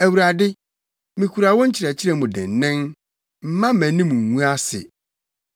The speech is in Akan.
Awurade, mikura wo nkyerɛkyerɛ mu dennen, mma mʼanim ngu ase.